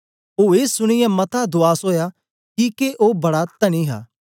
ओ ए सुनीयै मता दूआस ओया किके ओ बड़ा तनी हा